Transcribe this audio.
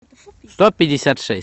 сто пятьдесят шесть